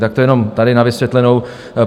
Tak to jenom tady na vysvětlenou.